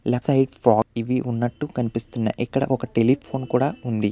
ఇక్కడ ఒక టెలిఫోన్ ఆ కూడా ఉంది.